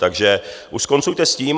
Takže už skoncujte s tím.